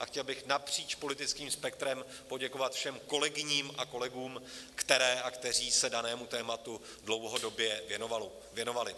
A chtěl bych napříč politickým spektrem poděkovat všem kolegyním a kolegům, které a kteří se danému tématu dlouhodobě věnovali.